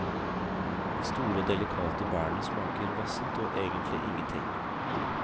De store og delikate bærene smaker vassent og egentlig ingenting.